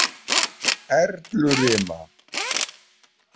Erlurima